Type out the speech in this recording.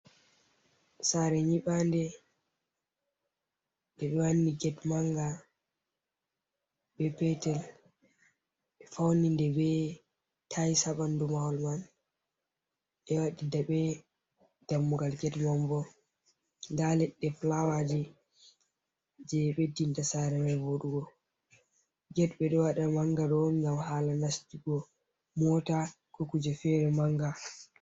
Sare nyiɓande nde ɓe wanni get manga be petel ɓe fauni nde ɓe tayis ha ɓandu mahol mai ɓe waɗi daɓe ha dammugal Get mai bo, nda leɗɗe flawaji je ɓeddinta sare mai voɗugo Get ɓe ɗo waɗa manga on ngam hala nastugo mota ko kuje fere manga.